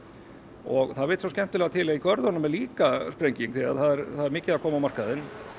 og það vill svo skemmtilega til að í görðunum er líka sprenging það er mikið að koma á markaðinn